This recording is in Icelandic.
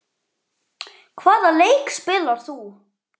Hvaða leik spilar þú?